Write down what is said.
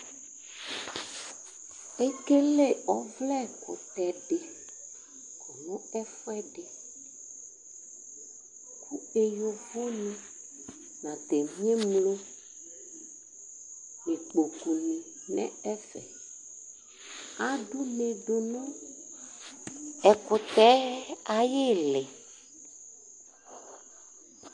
Ekele ɔvlɛkʋtɛdi kɔnʋ ɛfʋɛdi Kʋ eyovoni nʋ adenie ni nʋ ikpokʋ ni lɛnʋ ɛfɛ Adʋ une dʋnʋ ɛkʋtɛ yɛ ayʋ iili